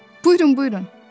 Buyurun, buyurun.